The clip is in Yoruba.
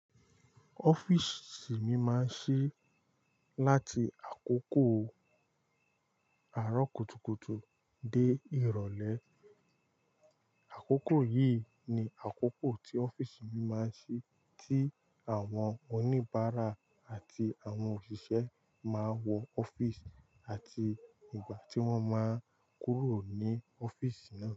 Ọ́fíìsì mi máa ń ṣí láti àkókò àárọ̀ kùtùkùtù dé ìrọ̀lẹ́. Àkókò yìí ni àkókò tí ọ́fíìsì mi máa ń ṣí, tí àwọn oníbàárà àti àwọn òṣìṣẹ́ máa wọ ọ́fíìsì àti ìgbà tí wọ́n máa ń kúrò ní ọ́fíìsì náà.